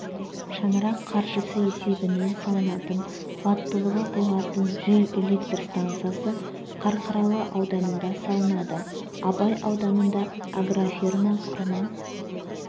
шаңырақ қаржысы есебінен салынатын қуаттылығы болатын жел электр станциясы қарқаралы ауданында салынады абай ауданында агрофирма құрма